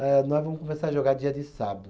Eh, nós vamos começar a jogar dia de sábado.